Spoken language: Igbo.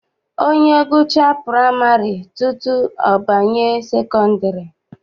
Onye gụchaa praịmarị tutu ọ banye sekọndịrị.